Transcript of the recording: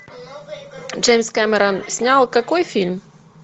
джеймс камерон снял какой фильм